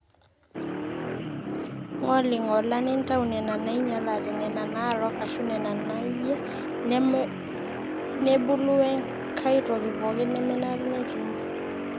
ng'oling'ola nintau nena naainyalate, nena naarook aashu nena naayie nebulu wenkai toki pooki nemenare netii ine